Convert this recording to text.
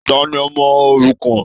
Tani ọmọ òrukàn?